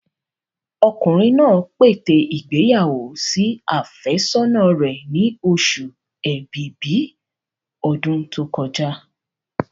Ọkùnrin náà pète ìgbéyàwó sí àfẹ́sọ́nà rẹ̀ ni oṣù ẹ̀bìbí ọdún tó kọjá.